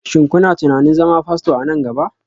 Shin kuna tunanin zama Fasto a nan gaba?